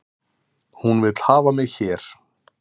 Hún vill hafa mig hér